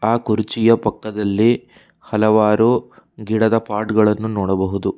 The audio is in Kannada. ಆ ಕುರುಚಿಯ ಪಕ್ಕದಲ್ಲಿ ಹಲವಾರು ಗಿಡದ ಪಾಟ್ ಗಳನ್ನು ನೋಡಬಹುದು.